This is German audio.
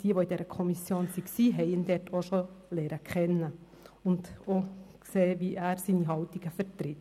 Jene, die in der Kommission waren, haben ihn dort auch schon kennengelernt und gesehen, wie er seine Haltungen vertritt.